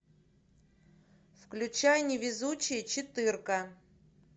включай невезучие четырка